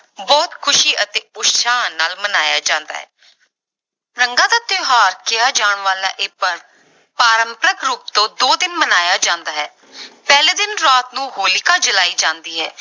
ਬਹੁਤ ਖ਼ੁਸ਼ੀ ਅਤੇ ਉਤਸ਼ਾਹ ਨਾਲ ਮਨਾਇਆ ਜਾਂਦਾ ਹੈ ਰੰਗਾਂ ਦਾ ਤਿਉਹਾਰ ਕਿਹਾ ਜਾਣਾ ਵਾਲਾ ਇਹ ਪਰਵ ਪਾਰੰਪਰਕ ਰੂਪ ਤੋਂ ਦੋ ਦਿਨ ਮਨਾਇਆ ਜਾਂਦਾ ਹੈ ਪਹਿਲੇ ਦਿਨ ਰਾਤ ਨੂੰ ਹੋਲਿਕਾ ਜਲਾਈ ਜਾਂਦੀ ਹੈ।